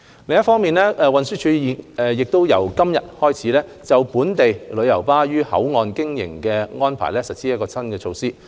另一方面，運輸署已自今天起，就本地旅遊巴於口岸營運的安排實施新措施。